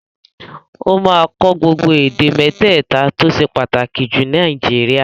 Ó máa kọ́ gbogbo èdè mẹ́tẹ̀ta tó ṣe pàtàkì jù ní Nàìjíríà